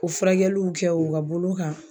O furakɛliw kɛ u ka bolo kan.